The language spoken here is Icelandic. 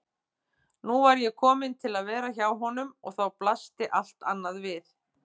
Nú var ég komin til að vera hjá honum og þá blasti allt annað við.